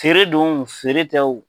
Feeredon wo feere tɛ wo.